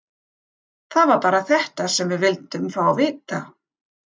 Það var bara þetta sem við vildum fá að vita.